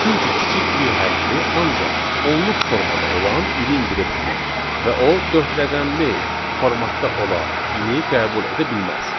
Çünki kiçik y hərfi ancaq onluq formada olan ilin direktividir və o dörd rəqəmli formatda olan ili qəbul edə bilməz.